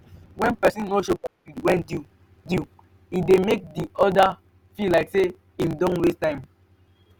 when persin no show gratitude when due due e de make di other feel like say i'm don waste time